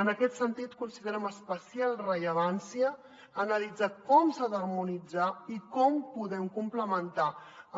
en aquest sentit considerem d’especial rellevància analitzar com s’ha d’harmonitzar i com podem complementar